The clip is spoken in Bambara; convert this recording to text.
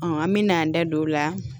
an me n'an da don o la